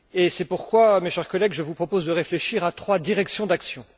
C'est pourquoi, mes chers collègues, je vous propose de réfléchir à trois directions d'action.